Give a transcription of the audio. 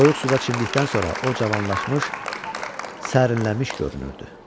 Soyuq suda çimdikdən sonra o cavanlaşmış, sərinlənmiş görünürdü.